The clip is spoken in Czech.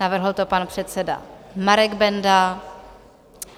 Navrhl to pan předseda Marek Benda.